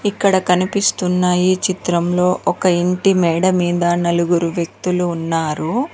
ఇక్కడ కనిపిస్తున్నాయి చిత్రంలో ఒక ఇంటి మేడ మీద నలుగురు వ్యక్తులు ఉన్నారు.